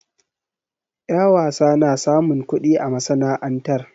Ƴa wasa na samun kuɗi a masana'antar.